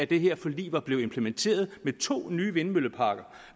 det her forlig var blevet implementeret med to nye vindmølleparker